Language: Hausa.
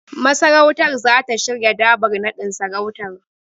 Masarautar zata shirya Dabar naɗin sarautar.